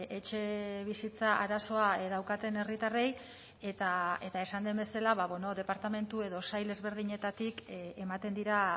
etxebizitza arazoa daukaten herritarrei eta esan den bezala departamentu edo sail ezberdinetatik ematen dira